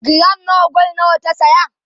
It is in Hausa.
giram na gwal nawa ta saya?